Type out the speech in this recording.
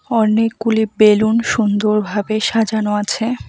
অনেকগুলি বেলুন সুন্দরভাবে সাজানো আছে।